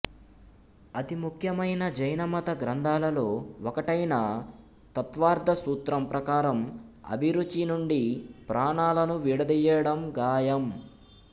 అతి ముఖ్యమైన జైన మత గ్రంథాలలో ఒకటైన తత్వార్థసూత్రం ప్రకారం అభిరుచి నుండి ప్రాణాలను విడదీయడం గాయం